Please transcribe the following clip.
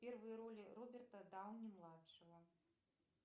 первые роли роберта дауни младшего